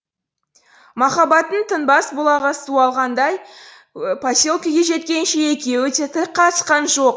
махаббаттың тынбас бұлағы суалғандай поселкеге жеткенше екеуі де тіл қатысқан жоқ